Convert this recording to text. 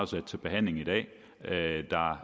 sat til behandling i dag